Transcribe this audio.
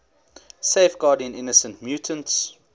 safeguarding innocent mutants